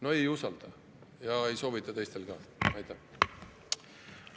No ei usalda ja ei soovita teistel ka.